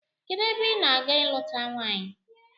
Kedụ ebe ị na-aga ịlụta nwaanyị?